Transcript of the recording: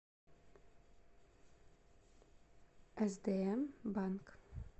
сдм банк